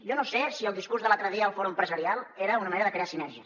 jo no sé si el discurs de l’altre dia al fòrum empresarial era una manera de crear sinergies